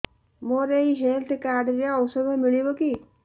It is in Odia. ମୋର ଏଇ ହେଲ୍ଥ କାର୍ଡ ରେ ଔଷଧ ମିଳିବ କି